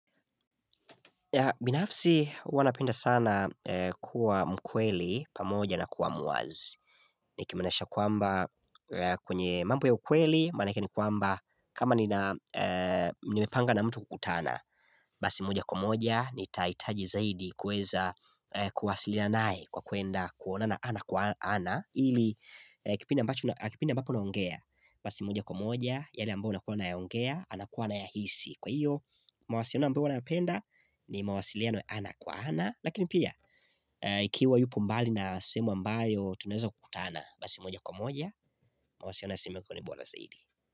Binafsi, huwa napenda sana kuwa mkweli, pamoja na kuwa muwazi Nikimanisha kwamba, kwenye mambo ya ukweli, maanake ni kwamba kama ni na nimepanga na mtu kukutana Basi moja kwa moja, nitahitaji zaidi kuweza kuwasiliana naye, kwa kwenda kuonana ana kwa ana, ili kipindi mbacho, kipindi ambapo naongea Basi moja kwa moja, yale ambayo nakuwa anayaongea, anakuwa ana ya hisi. Kwa hiyo, mawasiliano ambayo nayapenda ni mawasiliano ya ana kwa ana, lakini pia, ikiwa yupo mbali na semu ambayo tunaweza kukutana, basi moja kwa moja, mawasiliano ya sehemu huwa bora saidi.